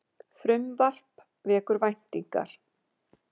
Frumvarp vekur væntingar